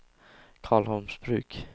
Karlholmsbruk